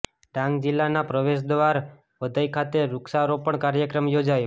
ડાંગ જિલ્લા ના પ્રવેશ દ્વાર વઘઇ ખાતે વુક્ષારોપણ કાર્યક્રમ યોજાયો